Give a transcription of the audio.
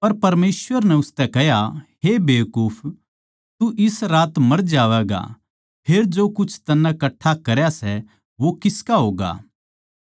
पर परमेसवर नै उसतै कह्या हे बेकूफ इस्से रात मर जावैगा फेर जो कुछ तन्नै कट्ठा करया सै वो किसका होगा